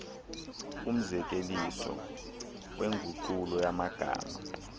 kumzekeliso wenguqulo yamagama